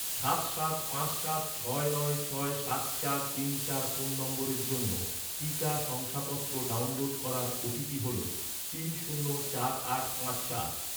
সাত সাত পাঁচ সাত ছয় নয় ছয় সাত চার তিন চার ফোন নম্বরের জন্য, টিকা শংসাপত্র ডাউনলোড করার ওটিপি হল তিন শূন্য চার আট পাঁচ সাত